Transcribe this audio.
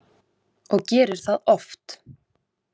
Og gerir það oft.